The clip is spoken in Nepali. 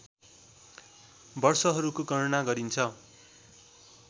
वर्षहरूको गणना गरिन्छ